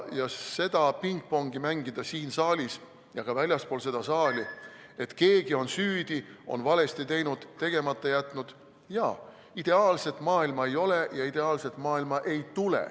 Ja seda pingpongi mängida siin saalis ja ka väljaspool seda saali, et keegi on süüdi, on valesti teinud, tegemata jätnud – jaa, ideaalset maailma ei ole ja ideaalset maailma ei tule.